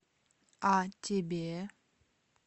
а тебе